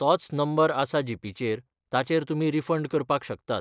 तोच नंबर आसा जीपेचेर ताचेर तुमी रिफंड करपाक शकतात.